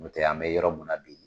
N'o tɛ an mɛ yɔrɔ mun na bi